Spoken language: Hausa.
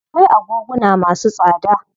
Akwai agoguna masu tsada.